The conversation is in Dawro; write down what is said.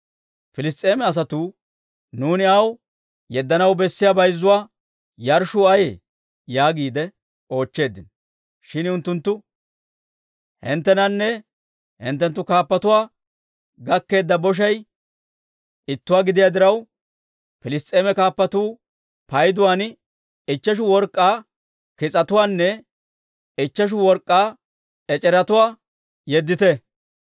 Piliss's'eema asatuu, «Nuuni aw yeddanaw bessiyaa bayzzuwaa yarshshuu ayee?» yaagiide oochcheeddino. Shin unttunttu, «Hinttenanne hinttenttu kaappatuwaa gakkeedda boshay ittuwaa gidiyaa diraw, Piliss's'eema kaappatuu payduwaadan ichcheshu work'k'aa kis'atuwaanne ichcheshu work'k'aa ec'eretuwaa yeddite.